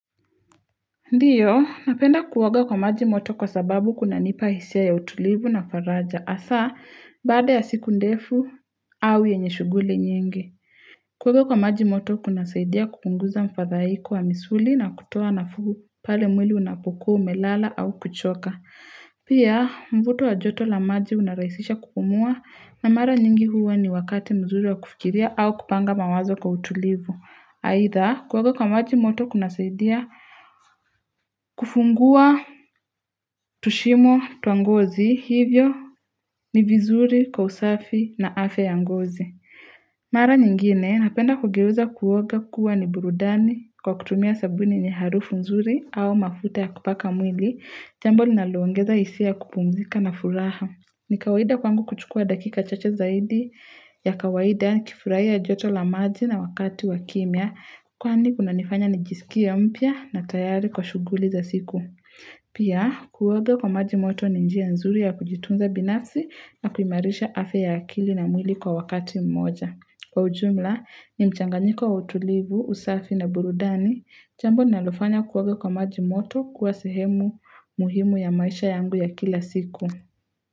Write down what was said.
Ndiyo, napenda kuoga kwa maji moto kwa sababu kuna nipa hisia ya utulivu na faraja. Hasa, baada ya siku ndefu au yenye shuguli nyingi. Kuoga kwa maji moto kuna saidia kupunguza mfadhaiko wa misuli na kutoa nafuu pale mwili unapokua umelala au kuchoka. Pia, mvuto wa joto la maji unaraisisha kupumua na mara nyingi huwa ni wakati mzuri wa kufikiria au kupanga mawazo kwa utulivu. Aidha, kuoga kwa maji moto kuna saidia kufungua, tushimo, twangozi, hivyo ni vizuri, kwa usafi na afya ya ngozi. Mara nyingine, napenda kugeuza kuoga kuwa ni burudani kwa kutumia sabuni yenye harufu nzuri au mafuta ya kupaka mwili, jambo linaloongeza hisia ya kupumzika na furaha. Ni kawaida kwangu kuchukua dakika chache zaidi ya kawaida nikifuraia joto la maji na wakati wa kimya kwani kuna nifanya nijisikie mpya na tayari kwa shuguli za siku. Pia, kuoga kwa maji moto ni njia nzuri ya kujitunza binafsi na kuimarisha afya ya akili na mwili kwa wakati mmoja. Kwa ujumla, ni mchanganyiko wa utulivu, usafi na burudani, jambo nalofanya kuoga kwa maji moto kuwa sehemu muhimu ya maisha yangu ya kila siku.